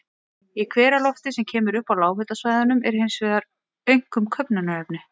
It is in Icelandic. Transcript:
Í hveralofti, sem kemur upp á lághitasvæðunum, er hins vegar einkum köfnunarefni.